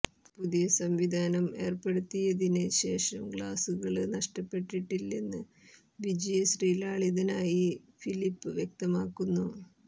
പുതിയ സംവിധാനം ഏര്പ്പെടുത്തിയതിന് ശേഷം ഗ്ലാസുകള് നഷ്ടപ്പെട്ടിട്ടില്ലെന്ന് വിജയശ്രീലാളിതനായി ഫിലിപ് വ്യക്തമാക്കുന്നു